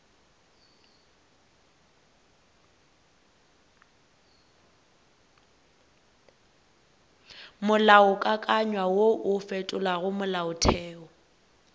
molaokakanywa wo o fetolago molaotheo